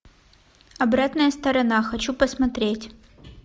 обратная сторона хочу посмотреть